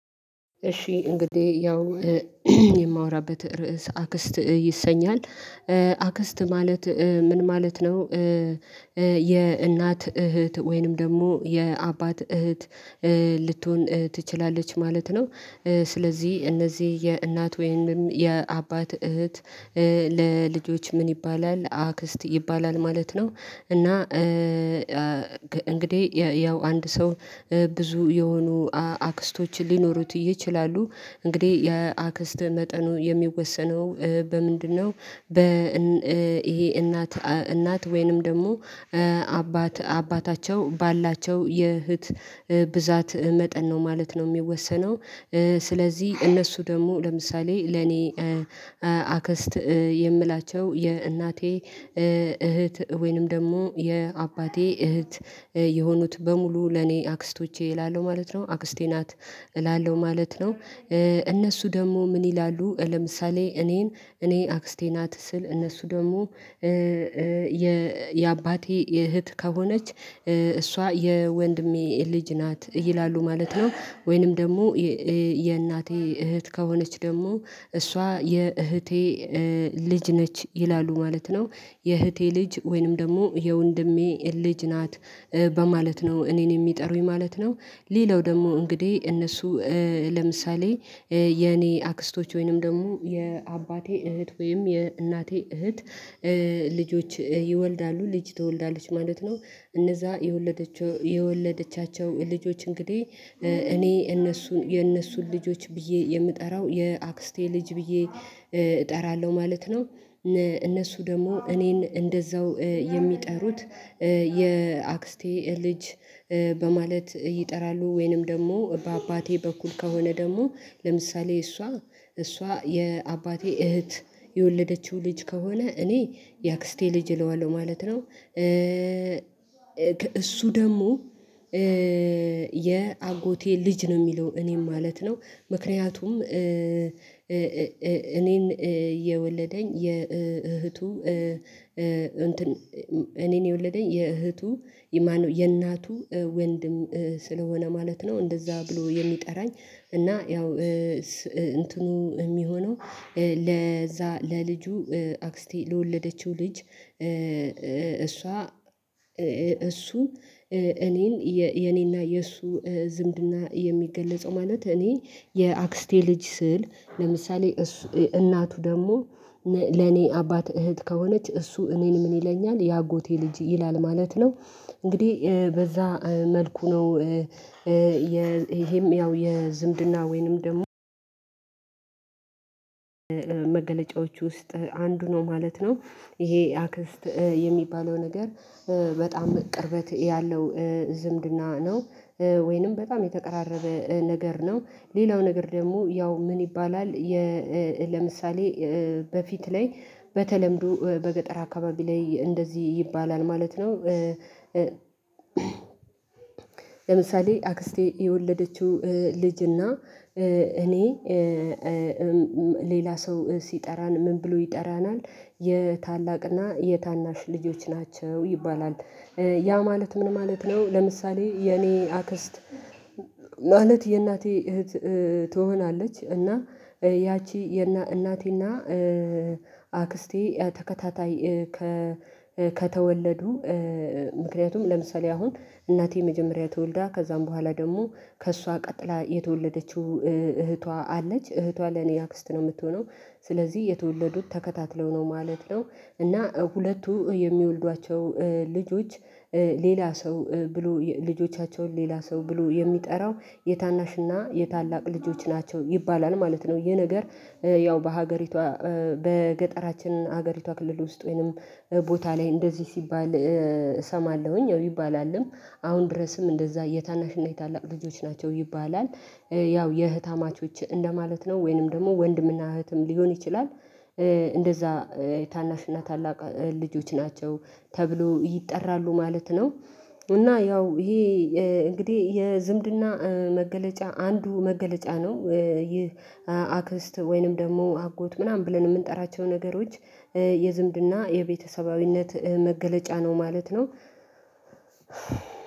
እሺ እንግዲህ ያው የማወራበት ርዕስ አክስት ይሰኛል አክስት ማለት ምን ማለት ነው? የእናት እህት ወይንም ደግሞ የአባት እህት ልትሆን ትችላለች ማለት ነው። ስለዚህ እነዚህ የእናት ወይም የአባት እህት ለልጆች ምን ይባላል አክስት ይባላል ማለት ነው። እና እንግዲህ ያው አንድ ሰው ብዙ የሆኑ አክስቶችን ሊኖሩት ይችላሉ። እንግዲህ የአክስት መጠኑ የሚወሰነው በምንድነው? በ ይሄ እናት እናት ወይንም ደግሞ አባት አባታቸው ባላቸው የእህት ብዛት መጠን ነው ማለት ነው የሚወሰነው። ስለዚህ እነሱ ደግሞ ለምሳሌ ለኔ አከስት አክስት የምላቸው የእናቴ እህት ወይንም ደግሞ የአባቴ እህት የሆኑት በሙሉ ለኔ አክስቶቼ እላለሁ ማለት ነው አክስቴ ናት እላለሁ ማለት ነው። እነሱ ደግሞ ምን ይላሉ ለምሳሌ እኔን እኔ አክስቴ ናት ስል እነሱ ደግሞ የአባቴ የእህት ከሆነች እሷ የወንድሜ ልጅ ናት ይላሉ ማለት ነው። ወይንም ደግሞ የእናቴ እህት ከሆነች ደግሞ እሷ የእህቴ ልጅ ነች ይላሉ ማለት ነው። የእህቴ ልጅ ወይንም ደግሞ የወንድሜ ልጅ ናት በማለት ነው እኔን የሚጠሩኝ ማለት ነው። ሌላው ደግሞ እንግዲህ እነሱ ለምሳሌ የኔ አክስቶች ወይንም ደግሞ የአባቴ እህት ወይም የእናቴ እህት ልጆች ይወልዳሉ ልጅ ትወልዳለች ማለት ነው። እነዛ የወለደቻቸው ልጆች እንግዲህ እኔ እነሱን የእነሱን ልጆች ብዬ የምጠራው የአክስቴ ልጅ ብዬ እጠራለሁ ማለት ነው። እነሱ ደግሞ እኔን እንደዛው የሚጠሩት የአክስቴ ልጅ በማለት ይጠራሉ ወይንም ደግሞ በአባቴ በኩል ከሆነ ደግሞ ለምሳሌ እሷ እሷ የአባቴ እህት የወለደችው ልጅ ከሆነ እኔ የአክስቴ ልጅ እለዋለሁ ማለት ነው። እሱ ደግሞ የአጎቴ ልጅ ነው የሚለው እኔም ማለት ነው። ምክንያቱም እኔን የወለደኝ የወለደኝ የእህቱ እንትን እኔን የወለደኝ የእህቱ የእናቱ ወንድም ስለሆነ ማለት ነው እንደዛ ብሎ የሚጠራኝ እና ያው እንትኑ የሚሆነው ለዛ ለልጁ አክስቴ ለወለደችው ልጅ እሷ እሱ እኔን የኔና የእሱ ዝምድና የሚገለጸው ማለት እኔ የአክስቴ ልጅ ስል ለምሳሌ እናቱ ደግሞ ለኔ አባት እህት ከሆነች እሱ እኔን ምን ይለኛል የአጎቴ ልጅ ይላል ማለት ነው። እንግዲህ በዛ መልኩ ነው ይሄም ያው የዝምድና ወይንም ደግሞ መገለጫዎች ውስጥ አንዱ ነው ማለት ነው። ይሄ አክስት የሚባለው ነገር በጣም ቅርበት ያለው ዝምድና ነው። ወይንም በጣም የተቀራረበ ነገር ነው ሌላው ነገር ደግሞ ያው ምን ይባላል ለምሳሌ በፊት ላይ በተለምዶ በገጠር አካባቢ ላይ እንደዚህ ይባላል ማለት ነው። ለምሳሌ አክስቴ የወለደችው ልጅና እኔ ሌላ ሰው ሲጠራን ምን ብሎ ይጠራናል? የታላቅና የታናሽ ልጆች ናቸው ይባላል ያ ማለት ምን ማለት ነው? ለምሳሌ የኔ አክስት ማለት የእናቴ እህት ትሆናለች እና ያቺ የእናቴና አክስቴ ተከታታይ ከተወለዱ ምክንያቱም ለምሳሌ አሁን እናቴ የመጀመሪያ ተወልዳ ከዛም በኋላ ደግሞ ከእሷ ቀጥላ የተወለደችው እህቷ አለች እህቷ ለኔ አክስት ነው የምትሆነው። ስለዚህ የተወለዱት ተከታትለው ነው ማለት ነው። እና ሁለቱ የሚወልዷቸው ልጆች ሌላ ሰው ብሎ ልጆቻቸውን ሌላ ሰው ብሎ የሚጠራው የታናሽና የታላቅ ልጆች ናቸው ይባላል ማለት ነው። ይሄ ነገር ያው በሀገሪቷ በገጠራችን ሀገሪቷ ክልል ውስጥ ወይንም ቦታ ላይ እንደዚህ ሲባል እሰማለሁኝ ይባላልም አሁን ድረስም እንደዛ የታናሽና የታላቅ ልጆች ናቸው ይባላል። ያው የህታማቾች እንደማለት ነው ወይንም ደግሞ ወንድምና እህትም ሊሆን ይችላል። እንደዛ ታናሽና ታላቅ ልጆች ናቸው ተብሎ ይጠራሉ ማለት ነው። እና ያው ይሄ እንግዲህ የዝምድና መገለጫ አንዱ መገለጫ ነው ይህ አክስት ወይንም ደግሞ አጎት ምናምን ብለን የምንጠራቸው ነገሮች የዝምድና የቤተሰባዊነት መገለጫ ነው ማለት ነው።